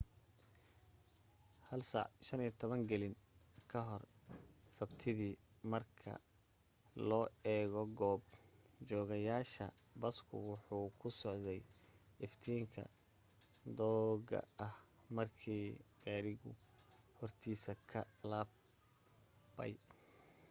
1:15 galin gore sabtidii marka loo eego goob joogeyaasha basku wuxuu ku socday iftiinka dooga ah markii gaadhigu hortiisa ka laabay